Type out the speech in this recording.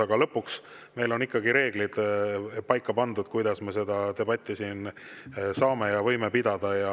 Aga lõpuks on meil ikkagi pandud paika reeglid, kuidas me seda debatti siin saame ja võime pidada.